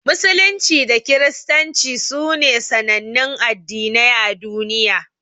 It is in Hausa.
Musulunci da Kiristanci sune sanannun Addinai a duniya.